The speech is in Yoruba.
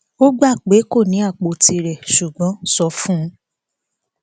ó gbà pé kó ní apò tirẹ ṣùgbọn sọ fún un